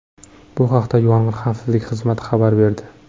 Bu haqda Yong‘in xavfsizligi xizmati xabar berdi .